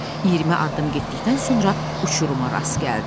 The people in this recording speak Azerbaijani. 20 addım getdikdən sonra uçuruma rast gəldi.